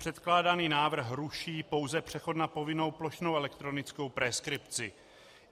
Předkládaný návrh ruší pouze přechod na povinnou plošnou elektronickou preskripci.